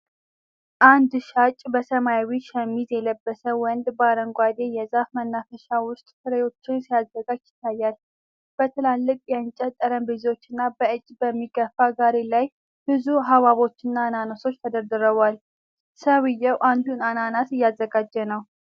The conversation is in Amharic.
አንድ ሻጭ በሰማያዊ ሸሚዝ የለበሰ ወንድ በአረንጓዴ የዛፍ መናፈሻ ውስጥ ፍሬዎችን ሲያዘጋጅ ይታያል። በትላልቅ የእንጨት ጠረጴዛዎች እና በእጅ በሚገፋ ጋሪ ላይ ብዙ ሐብሐቦችና አናናሶች ተደርድረዋል። ሰውየው አንዱን አናናስ እያዘጋጀ ነው።